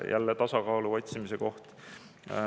Jälle tasakaalu otsimise koht.